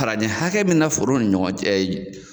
Farancɛ hakɛ min bɛna foro ni ɲɔgɔn cɛ